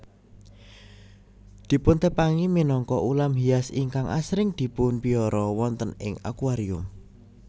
Dipuntepangi minangka ulam hias ingkang asring dipunpiara wonten ing akuarium